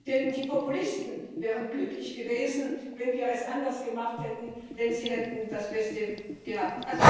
Denn die Populisten wären glücklich gewesen, wenn wir es anders gemacht hätten, denn sie hätten das Beste gehabt.